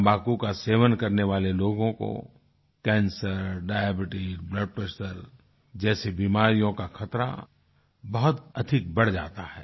तम्बाकू का सेवन करने वाले लोगों को कैंसर डायबीट्स ब्लड प्रेशर जैसी बीमारियों का खतरा बहुत अधिक बढ़ जाता है